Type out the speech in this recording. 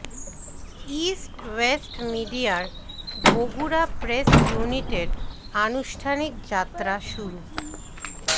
east West মিডিয়ার Bogura press ইউনিটের আনুষ্ঠানিক যাত্রা শুরু